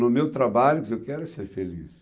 No meu trabalho, quer dizer, eu quero ser feliz.